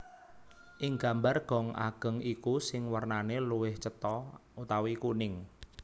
Ing gambar gong ageng iku sing warnane luwih cetha/kuning